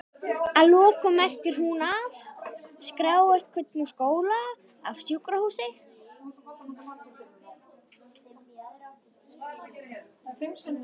Að lokum merkir hún að?skrá einhvern úr skóla, af sjúkrahúsi?